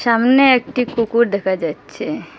সামনে একটি কুকুর দেখা যাচ্ছে।